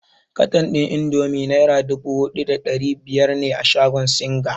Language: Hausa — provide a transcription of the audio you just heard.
Katan ɗin indomi naira dubu huɗu da ɗari biyar ne a shagon singa.